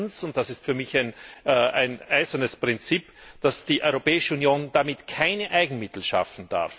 Und zweitens und das ist für mich ein eisernes Prinzip darf die Europäische Union damit keine Eigenmittel schaffen.